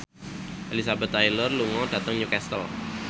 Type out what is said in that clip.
Elizabeth Taylor lunga dhateng Newcastle